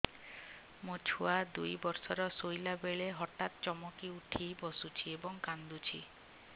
ମୋ ଛୁଆ ଦୁଇ ବର୍ଷର ଶୋଇଲା ବେଳେ ହଠାତ୍ ଚମକି ଉଠି ବସୁଛି ଏବଂ କାଂଦୁଛି